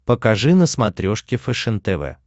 покажи на смотрешке фэшен тв